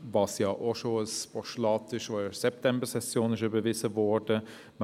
Dazu gibt es bereits ein Postulat, das in der Septembersession überwiesen worden ist.